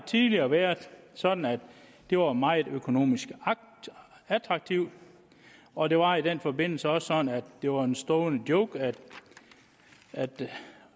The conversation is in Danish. tidligere været sådan at det var meget økonomisk attraktivt og det var i den forbindelse også sådan at det var en stående joke at